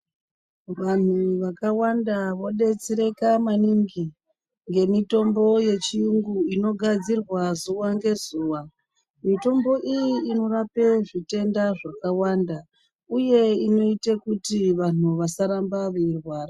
Vantu vakawanda vobetsereka maningi ngemitombo yechiyungu inogadzirwa zuva ngezuva mitombo iyi inorapa zvitenda zvakawanda uye inoite kuti vantu vasarambe veirwara .